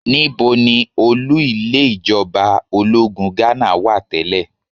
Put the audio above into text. Níbo ni olú ilé ìjọba ológun Ghánà wà tẹ́lẹ̀?